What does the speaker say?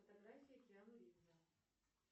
фотографии киану ривза